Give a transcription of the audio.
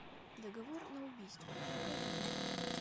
договор на убийство покажи мне